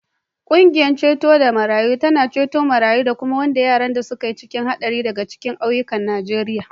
Ƙungiyar ceto marayu tana ceto marayu da kuma wanda yaran da suke cikin haɗari daga cikin ƙauyukan Najeriya.